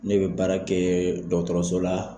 Ne bɛ baara kɛ dɔgɔtɔrɔso la